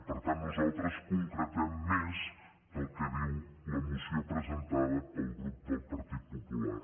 per tant nosaltres concretem més que el que diu la moció presentada pel grup del partit popular